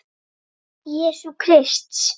Jesú Krists.